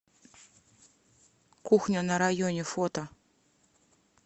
кухня на районе фото